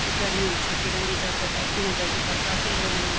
जू गर्मियों कि छुट्टी रेंदी जब त तब इना जगहों पर काफी लोग अन्दी।